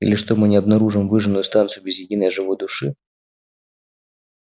или что мы не обнаружим выжженную станцию без единой живой души